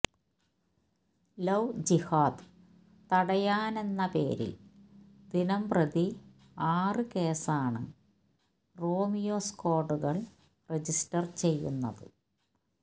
love ജിഹാദ് തടയാനെന്നപേരിൽ ദിനംപ്രതി ആറ് കേസാണ് റോമിയോ സ്ക്വാഡുകൾ രജിസ്റ്റർ ചെയ്യുന്നത്